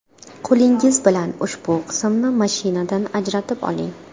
Qo‘lingiz bilan ushbu qismni mashinadan ajratib oling.